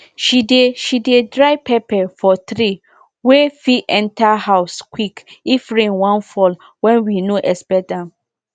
she dey she dey dry pepper for tray wey fit enter house quick if rain wan fall wen we no expect am